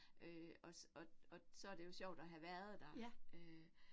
Øh og og og så det jo sjovt at have været der øh